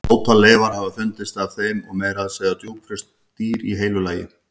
Ótal leifar hafa fundist af þeim og meira að segja djúpfryst dýr í heilu lagi.